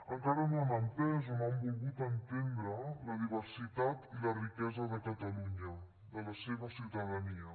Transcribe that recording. encara no han entès o no han volgut entendre la diversitat i la riquesa de catalunya de la seva ciutadania